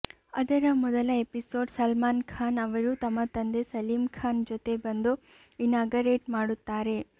ಅದರ ಮೊದಲ ಎಪಿಸೋಡ್ ಸಲ್ಮಾನ್ ಖಾನ್ ಅವರು ತಮ್ಮ ತಂದೆ ಸಲೀಮ್ ಖಾನ್ ಜೊತೆ ಬಂದು ಇನಾಗರೇಟ್ ಮಾಡುತ್ತಾರೆ